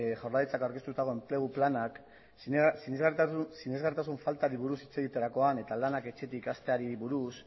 jaurlaritzak aurkeztutako enplegu planak sinesgarritasun faltari buruz hitz egiterakoan eta lanak etxetik hasteari buruz